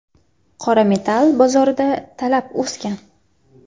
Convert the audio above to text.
Qora metall bozorida talab o‘sgan.